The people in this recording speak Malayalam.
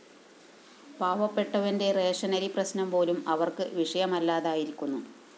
പാവപ്പെട്ടവന്റെ റേഷനരി പ്രശ്‌നം പോലും അവര്‍ക്ക് വിഷയമല്ലാതായിരിക്കുന്നു